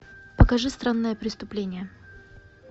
покажи странное преступление